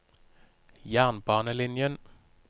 jernbanelinjen